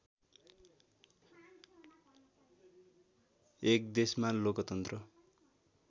१ देशमा लोकतन्त्र